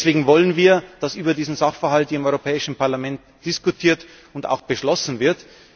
Deswegen wollen wir, dass über diesen Sachverhalt im Europäischen Parlament diskutiert und auch beschlossen wird.